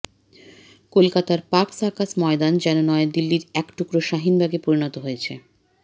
কলকাতার Park Circus ময়দান যেন নয়াদিল্লির এক টুকরো শাহিনবাগে পরিণত হয়েছে